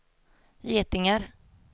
getingar